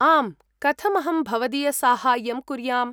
आम्, कथम् अहं भवदीयसाहाय्यं कुर्याम्?